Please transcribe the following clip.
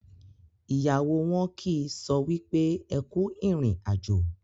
ìyàwó wọn kì so wípé ẹkú irin àjò.